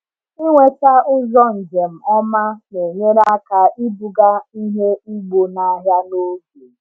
Ịnweta ụzọ njem ọma na-enyere aka ibuga ihe ugbo n’ahịa n’oge.